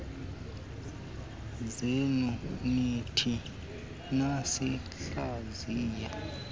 zenu nithe nasihlaziya